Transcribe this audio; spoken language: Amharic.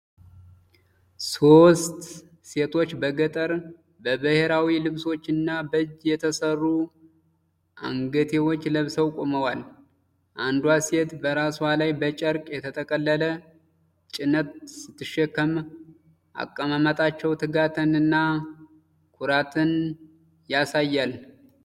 ሦስት ሴቶች በገጠር፣ በብሔራዊ ልብሶች እና በእጅ የተሰሩ አንገትጌዎች ለብሰው ቆመዋል። አንዷ ሴት በራሷ ላይ በጨርቅ የተጠቀለለ ጭነት ስትሸከም፣ አቀማመጣቸው ትጋትን እና ኩራትን ያሳያል።